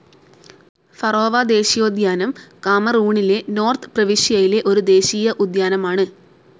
Faro ദേശീയോദ്യാനം കാമറൂണിലെ north പ്രവിശ്യയിലെ ഒരു ദേശീയ ഉദ്യാനമാണ്.